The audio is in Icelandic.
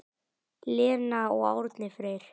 Lena og Árni Freyr.